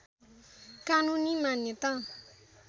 कानूनी मान्यता